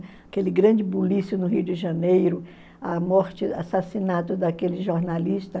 Aquele grande bulício no Rio de Janeiro, a morte, o assassinato daquele jornalista.